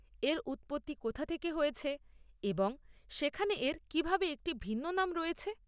এর উৎপত্তি কোথা থেকে হয়েছে এবং সেখানে এর কীভাবে একটি ভিন্ন নাম রয়েছে?